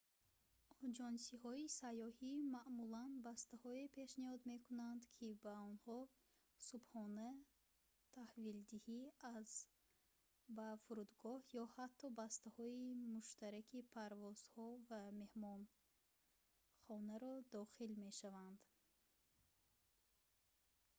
оҷонсиҳои сайёҳӣ маъмулан бастаҳое пешниҳод мекунанд ки ба онҳо субҳона таҳвилдиҳӣ аз/ба фурудгоҳ ё ҳатто бастаҳои муштараки парвозҳо ва меҳмонхонаро дохил мешаванд